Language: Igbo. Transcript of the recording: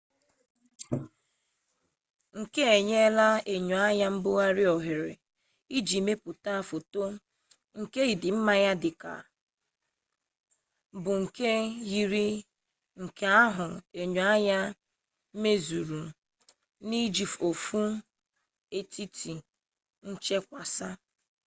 nke a enyela enyoanya mbugharị ohere iji mepụta foto nke ịdị mma ya bụ nke yiri nke ahụ enyoanya mezuru n'iji ofu etiti nchakwasa